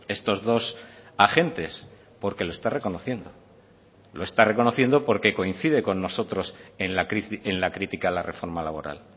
estos dos agentes porque lo está reconociendo lo está reconociendo porque coincide con nosotros en la crítica a la reforma laboral